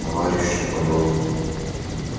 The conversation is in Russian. товарищ наполеон